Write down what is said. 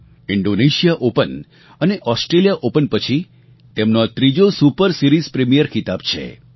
Indonesia open અને Australia open પછી તેમનો આ ત્રીજો સુપર સીરિઝ પ્રીમિયર ખિતાબ છે